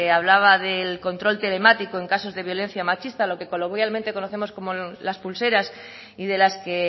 hablaba del control telemático en casos de violencia machista lo que coloquialmente conocemos como las pulseras y de las que